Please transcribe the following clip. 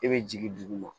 E bɛ jigin duguma